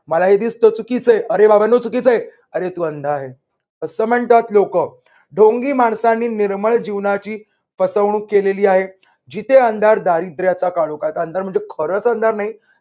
मला हे दिसतं चुकीचा आहे. अरे बाबांनो चुकीचा आहे अरे तू असं म्हणतात लोक. ढोंगी माणसाने निर्मळ जीवनाची फसवणूक केलेली जिथे आहे. जिथे अंधार दारिद्र्याचा काळोखात म्हणजे खरच अंधार नाही.